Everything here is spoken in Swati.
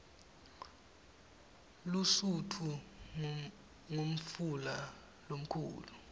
lusutfu ngumfula lomkhulu